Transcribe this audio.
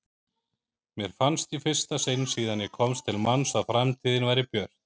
Mér fannst í fyrsta sinn síðan ég komst til manns að framtíðin væri björt.